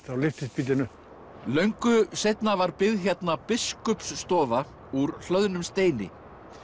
þá lyftist bíllinn upp löngu seinna var byggð hérna Biskupsstofa úr hlöðnum steini